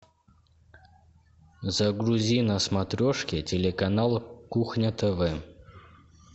загрузи на смотрешке телеканал кухня тв